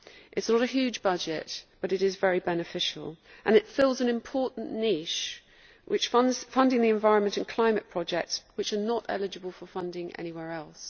It is not a huge budget, but it is very beneficial and it fills an important niche, which is funding the environmental and climate projects that are not eligible for funding anywhere else.